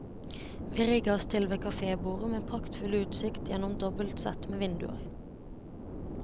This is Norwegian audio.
Vi rigget oss til ved kafébordet med praktfull utsikt gjennom dobbelt sett med vinduer.